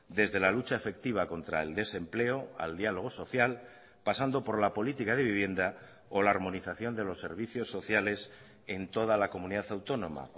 desde la lucha efectiva contra el desempleo al diálogo social pasando por la política de vivienda o la armonización de los servicios sociales en toda la comunidad autónoma